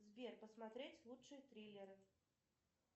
сбер посмотреть лучшие триллеры